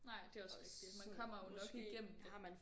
Nej det er også rigtigt og man kommer jo nok igennem det